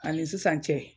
Ani sisan cɛ